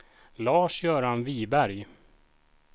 Lars-Göran Viberg